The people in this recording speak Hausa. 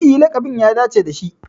E, laƙabin ya dace da shi.